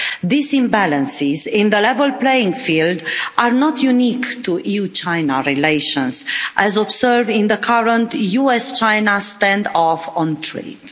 These imbalances in the level playing field are not unique to EU-China relations, as observed in the current US-China standoff on trade.